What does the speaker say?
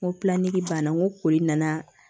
N ko banna n ko koori nana